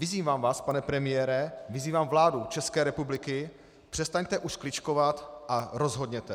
Vyzývám vás, pane premiére, vyzývám vládu České republiky, přestaňte už kličkovat a rozhodněte.